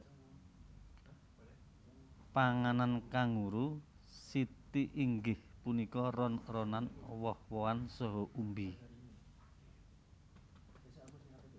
Panganan kanguru siti inggih punika ron ronan woh wohan saha umbi